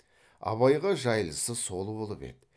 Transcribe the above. абайға жайлысы сол болып еді